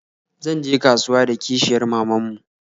Zan je kasuwa da kishiyar maman mu